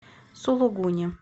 сулугуни